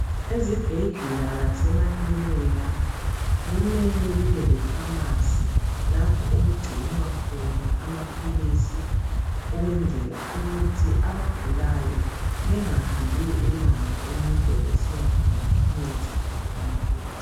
Ezibhedlela lasemaklinika kumele kube lefamasi, lapho okugcinwa khona amaphilisi ukwenzela ukuthi abagulayo bengahambi umango emide besiyadinga imithi, kumbe amaphilisi.